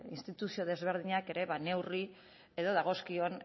instituzio desberdinak ere ba neurri edo dagozkion